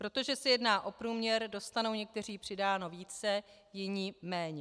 Protože se jedná o průměr, dostanou někteří přidáno více, jiní méně.